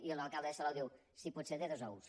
i l’alcalde de salou diu si pot ser de dos ous